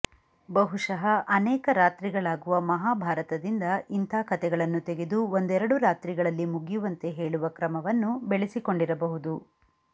ಬಹುಶಃ ಅನೇಕ ರಾತ್ರಿಗಳಾಗುವ ಮಹಾಭಾರತದಿಂದ ಇಂಥ ಕತೆಗಳನ್ನು ತೆಗೆದು ಒಂದೆರಡು ರಾತ್ರಿಗಳಲ್ಲಿ ಮುಗಿಯುವಂತೆ ಹೇಳುವ ಕ್ರಮವನ್ನು ಬೆಳೆಸಿಕೊಂಡಿರಬಹುದು